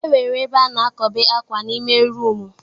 E nwere ebe a na-akobe akwà n'ime rumu.